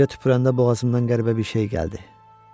Gecə tüpürəndə boğazımdan qəribə bir şey gəldi.